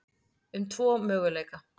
um tvo möguleika.